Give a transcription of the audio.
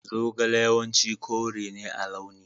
Zogale yawanci kore ne a launi.